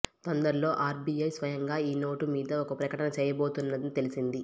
తొందరల్లో RBI స్వయాంగా ఈ note మీద ఒక ప్రకటన చేయబోతున్నదని తెలిసింది